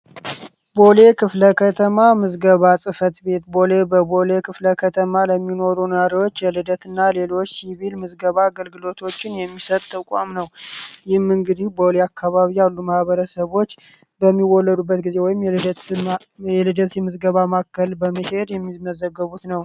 ቦሌ ክፍለ ከተማ ምዝገባ ጽፈት ቤት ቦሌ በቦሌ ክፍለ ከተማ ለሚኖሩ ናሪዎች የልደት እና ሌሎች ሲቪል ምዝገባ አገልግሎቶችን የሚሰጠ ተቋም ነው። ይህም እንግዲ ቦሌ አካባቢ አዱ መህበረ ሰቦች በሚወለዱበት ጊዜ ወይም የልደትምዝገባ ማከል በመካሄድ የሚመዘገቡት ነው።